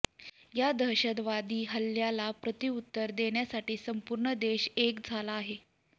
या दहशदवादी हल्ल्याला प्रत्युत्तर देण्यासाठी संपूर्ण देश एक झाला आहे